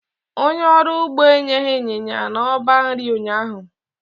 Onye ọrụ ugbo enyeghị ịnyịnya n'ọba nri ụnyaahụ.